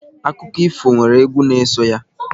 Akụkọ ifo nwere egwu n'eso ya.